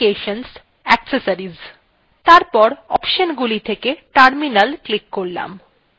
তারপর অপশনগুলি থেকে terminal click করলাম